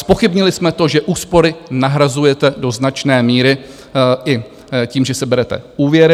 Zpochybnili jsme to, že úspory nahrazujete do značné míry i tím, že si berete úvěry.